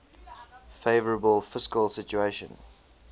favourable fiscal situation